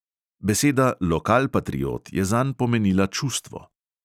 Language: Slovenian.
Beseda lokalpatriot je zanj pomenila čustvo.